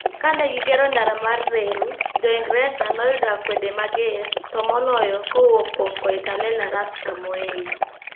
Ka ne gigero ndara mar reru, Jo-Ingresa noyudo akwede mager, to moloyo kowuok kuom Koitalel Arap Samoei.